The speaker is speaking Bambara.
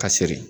Ka siri